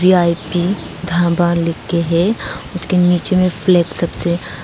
VEP dhaba लिख के है उसके नीचे में फ्लैग सब से--